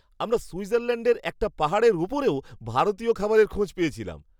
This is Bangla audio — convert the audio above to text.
আমরা সুইজারল্যাণ্ডের একটা পাহাড়ের উপরেও ভারতীয় খাবারের খোঁজ পেয়েছিলাম!